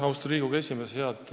Austatud Riigikogu esimees!